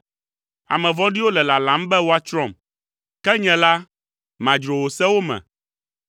Ame vɔ̃ɖiwo le lalam be woatsrɔ̃m, ke nye la, madzro wò sewo me.